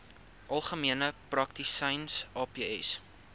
algemene praktisyns aps